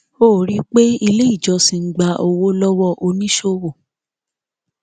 ó rí i pé ilé ìjọsìn ń gbà owó lówó oníṣòwò